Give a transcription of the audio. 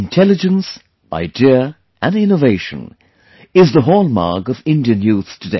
'Intelligence, Idea and Innovation'is the hallmark of Indian youth today